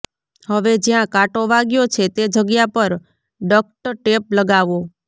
હવે જ્યાં કાંટો વાગ્યો છે તે જગ્યા પર ડક્ટ ટેપ લગાવો